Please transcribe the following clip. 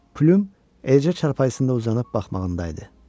Plyum Elcə çarpayısında uzanıb baxmağında idi.